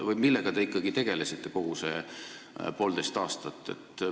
Millega te ikkagi tegelesite kogu see poolteist aastat?